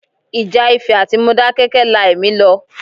Ìjà Ifẹ̀ àti Modákẹ́kẹ́ la ẹ̀mí lọ.